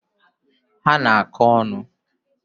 Ha ana akọ onu?